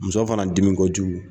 Muso fana dimi kojugu